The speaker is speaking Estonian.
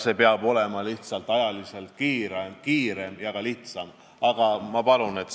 See peab käima kiiremini ja ka lihtsamalt.